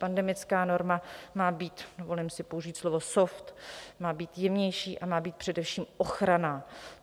Pandemická norma má být, dovolím si použít slovo soft, má být jemnější a má být především ochranná.